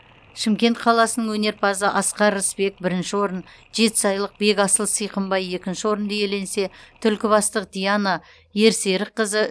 шымкент қаласының өнерпазы асқар рысбек бірінші орын жетісайлық бекасыл сыйқымбай екінші орынды иеленсе түлкібастық диана ерсерікқызы